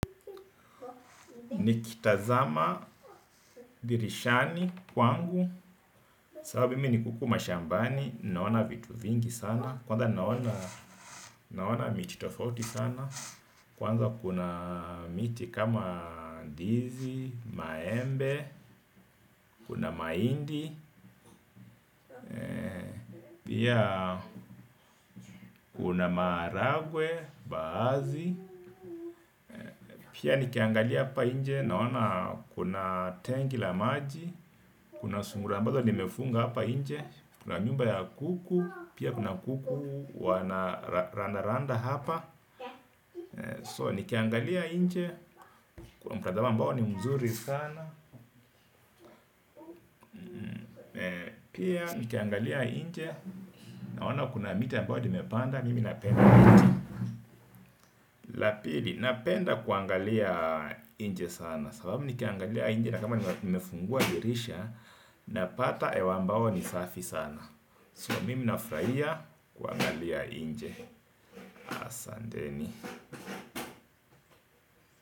Nikitazama dirishani kwangu sababu mimi niko huku mashambani naona vitu vingi sana kwanza naona miti tofauti sana kwanza kuna miti kama ndizi, maembe kuna mahindi pia kuna maharagwe, mbaazi pia nikiangalia hapa nje naona kuna tenki la maji kuna sungura ambazo nimefunga hapa nje kuna nyumba ya kuku pia kuna kuku wana randa randa hapa. So nikiangalia nje kuna mtazamo mbao ni mzuri sana pia nikiangalia nje naona kuna miti ambao nimepanda mimi napenda miti. Lapili napenda kuangalia nje sana sababu nikiangalia nje nakama nimefungua dirisha ni mzuri sana napata hewa ambao ni safi sana. So mimi nafurahia kuangalia nje. Asanteni.